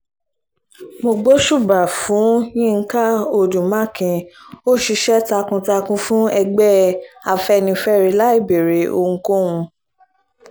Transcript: mo gbóṣùbà fún yinka odu makin ó ṣiṣẹ́ takuntakun fún ẹgbẹ́ afẹ́nifẹ́re láì béèrè ohunkóhun